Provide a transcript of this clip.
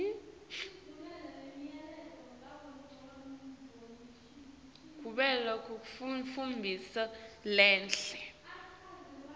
kuvela kwentfombi lenhle